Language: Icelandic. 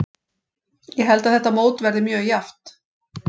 Ég held að þetta mót verði mjög jafnt.